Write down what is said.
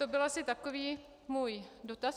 To byl asi takový můj dotaz.